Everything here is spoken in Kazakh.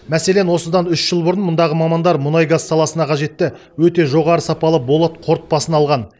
мәселен осыдан үш жыл бұрын мұндағы мамандар мұнай газ саласына қажетті өте жоғары сапалы болат қорытпасын алған